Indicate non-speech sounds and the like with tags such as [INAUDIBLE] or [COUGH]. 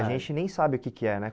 [UNINTELLIGIBLE] E a gente nem sabe o que que é, né?